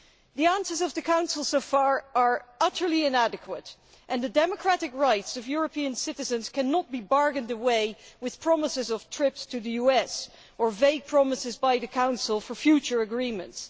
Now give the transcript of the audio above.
The answers of the Council so far are utterly inadequate, and the democratic rights of European citizens cannot be bargained away with promises of trips to the US or vague promises by the Council for future agreements.